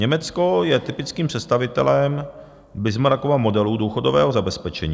Německo je typickým představitelem Bismarckova modelu důchodového zabezpečení.